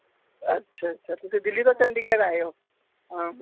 ਅੱਛਾ ਅੱਛਾ ਤੁਸੀ ਦਿੱਲੀ ਤੋਂ ਚੰਡੀਗੜ੍ਹ ਆਏ ਹੋ ਅਹ